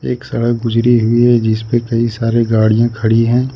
एक सड़क गुजरी हुई है जिस पे कई सारे गाड़ियां खड़ी है।